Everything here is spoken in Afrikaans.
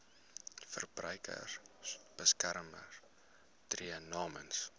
verbruikersbeskermer tree namens